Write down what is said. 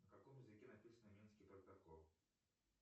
на каком языке написан минский протокол